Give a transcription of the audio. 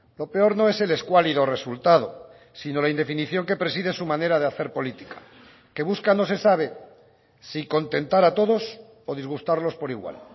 lo peor no es el escuálido resultado sino la indefinición que preside su manera de hacer política que busca no se sabe si contentar a todos o disgustarlos por igual